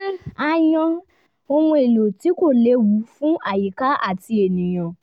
a yan ohun èlò tí kò lewu fún àyíká àti ènìyàn